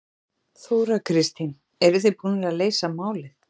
Þóra Kristín: Eruð þið búnir að leysa málið?